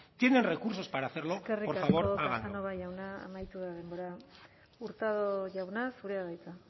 tienen recursos para hacerlo por favor háganlo eskerrik asko casanova jauna amaitu da denbora hurtado jauna zurea da hitza